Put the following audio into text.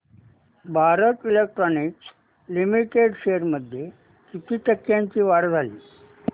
Bharat Electronics Limited shares मध्ये किती टक्क्यांची वाढ झाली